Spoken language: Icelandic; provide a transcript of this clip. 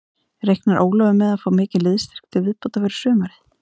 Reiknar Ólafur með að fá mikinn liðsstyrk til viðbótar fyrir sumarið?